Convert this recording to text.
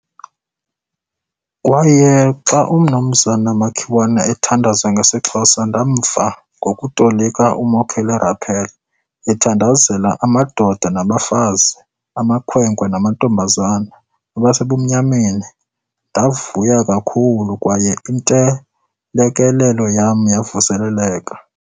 Kwaye xa uMnumzana Makiwane ethandaza ngesiXhosa ndamva, ngokutolika uMokele Raphela, ethandazela amadoda nabafazi, amakhwenkwe namantombazana, ababesebumnyameni, ndavuya kakhulu kwaye intelekelelo yam yavuseleleka."